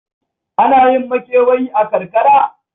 Ana yin makewayi a karkara?